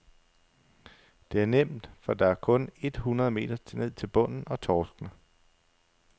Det er nemt, for der er kun et hundrede meter ned til bunden og torskene.